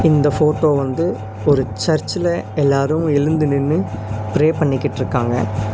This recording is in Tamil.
இந்த போட்டோ வந்து ஒரு சர்ச்சுல எல்லாரு எழுந்து நின்னு பிரே பண்ணிகிட்ருக்காங்க.